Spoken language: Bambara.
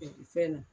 Fɛn na